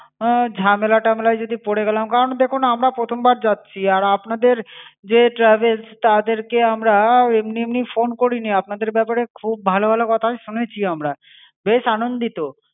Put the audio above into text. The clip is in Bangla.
ঝামেলা টামেলায় যদি পরে গেলাম, করান দেখুন আমরা প্রথম বার যাচ্ছি। আর আপনাদের যে travels তাদেরকে আমরা এমনি এমনি phone করিনি। আপনাদের ব্যাপারে খুব ভালো ভালো কথাই শুনেছি আমরা। বেশ আনন্দিত।